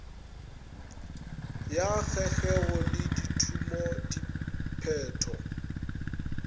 ya kgegeo le dithumo diphetho